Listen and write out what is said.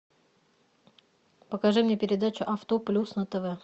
покажи мне передачу авто плюс на тв